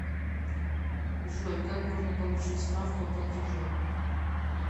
джой как можно получить справку о платеже